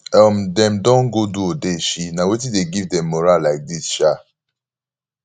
um dem don go do odeshi na wetin dey give dem morah like dis um